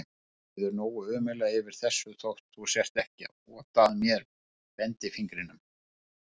Mér líður nógu ömurlega yfir þessu þótt þú sért ekki að ota að mér bendifingrinum.